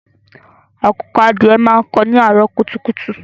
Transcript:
Àkùkọ adìẹ máa ń kó ni àárọ̀ kùtùkùtù.